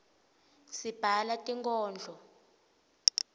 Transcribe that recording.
sibhala tinkodlo